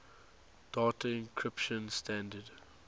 data encryption standard